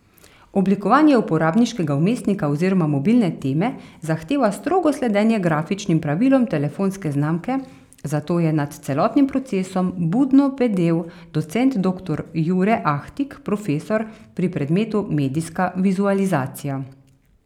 Oblikovanje uporabniškega vmesnika oziroma mobilne teme zahteva strogo sledenje grafičnim pravilom telefonske znamke, zato je nad celotnim procesom budno bedel docent doktor Jure Ahtig, profesor pri predmetu medijska vizualizacija.